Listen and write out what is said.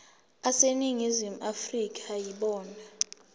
aseningizimu afrika yibona